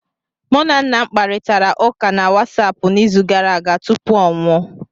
Mụ na nna m kparịtara ụka na Wasapụ n'izu gara aga tupu ọ nwụọ